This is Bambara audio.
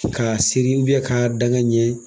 k'a seri k'a dan ŋ'a ɲɛ